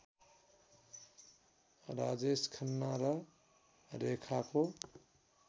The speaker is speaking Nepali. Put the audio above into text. राजेश खन्ना र रेखाको